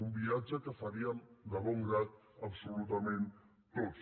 un viatge que faríem de bon grat absolutament tots